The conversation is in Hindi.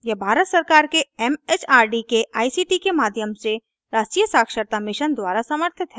यह भारत सरकार के एमएचआरडी के आईसीटी के माध्यम से राष्ट्रीय साक्षरता मिशन द्वारा समर्थित है